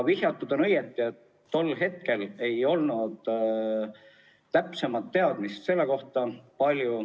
Vihjatud on õigesti, et tol hetkel ei olnud täpsemat teadmist selle kohta.